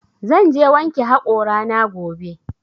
Zan je wanke haƙora na gobe